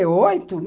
Oito.